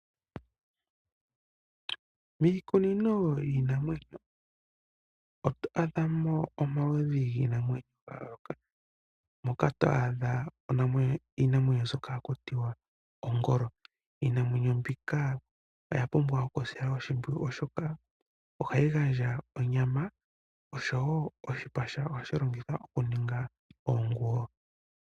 Miikunino yiinamwenyo oto adhamo omaludhi giinamwenyo ga yoolokathana. Moka to adha iinamwenyo mbyoka haku tiwa Ongolo. Iinamwenyo mbika oya pumbwa oku silwa oshimpwiyu oshoka ohayi gandja onyama, osho wo oshipa shawo ohashi longithwa oku ninga oonguwo.